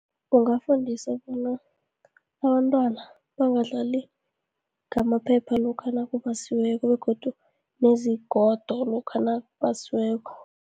Kungafundisa bona, abantwana bangadlali ngamaphepha lokha nakubasiweko, begodu nezigodo lokha nakubasiweko.